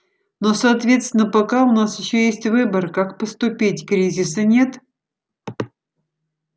но соответственно пока у нас ещё есть выбор как поступить кризиса нет